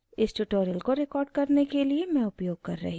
इस tutorial को record करने के लिए मैं उपयोग कर रही हूँ